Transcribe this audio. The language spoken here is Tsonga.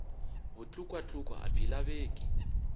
vutlukwa tlukwa a byi laveki